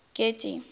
getty